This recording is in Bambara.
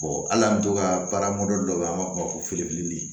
hali an bɛ to ka baara mɔdɛli dɔ bɛ yen an b'a fɔ o ma ko